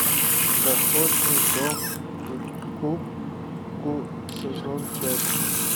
доходный дом иккоку сезон пять